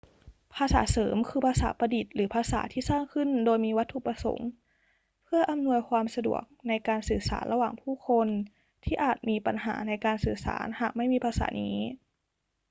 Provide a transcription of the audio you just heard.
ภาษาเสริมคือภาษาประดิษฐ์หรือภาษาที่สร้างขึ้นโดยมีวัตถุประสงค์เพื่ออำนวยความสะดวกในการสื่อสารระหว่างผู้คนที่อาจมีปัญหาในการสื่อสารหากไม่มีภาษานี้